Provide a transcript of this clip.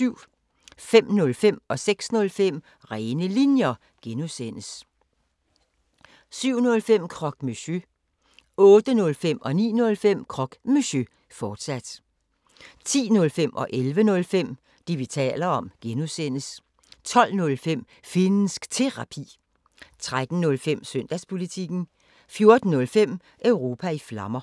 05:05: Rene Linjer (G) 06:05: Rene Linjer (G) 07:05: Croque Monsieur 08:05: Croque Monsieur, fortsat 09:05: Croque Monsieur, fortsat 10:05: Det, vi taler om (G) 11:05: Det, vi taler om (G) 12:05: Finnsk Terapi 13:05: Søndagspolitikken 14:05: Europa i Flammer